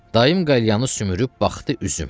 Dayım qəlyanı sümürüb baxdı üzümə.